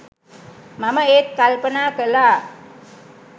මම ඒත් කල්පනා කලා